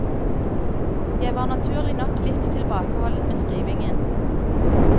Jeg var naturlig nok litt tilbakeholden med skrivingen.